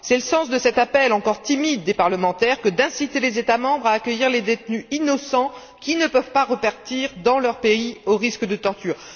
C'est le sens de cet appel encore timide des parlementaires que d'inciter les États membres à accueillir les détenus innocents qui ne peuvent pas repartir dans leur pays au risque de torture.